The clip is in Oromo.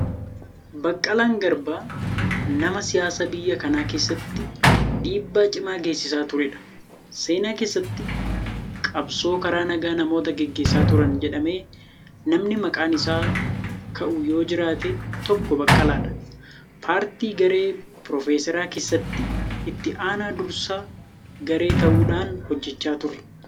Baqqalaan Garbaa nama siyaasaa biyya kana keessatti dhiibbaa cimaa geessisaa turedha. Seenaa keessatti qabsoo karaa nagaa namoota gaggeessaa turan jedhamee namni maqaan isaa ka'u yoo jiraate tokko Baqqalaadha. Paartii garee Piroofeser keessatti itti aanaa dursaa garee ta'uudhaan hojjechaa ture.